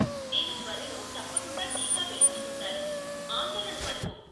నేను త్వరలో తప్పకుండా టీకా వేయించుకుంటాను, ఆందోళన పడకు.